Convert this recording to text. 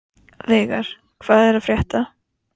Veigar, hvað er að frétta?